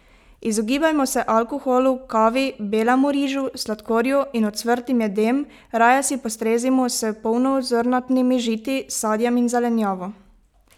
Izogibajmo se alkoholu, kavi, belemu rižu, sladkorju in ocvrtim jedem, raje si postrezimo s polnozrnatimi žiti, sadjem in zelenjavo!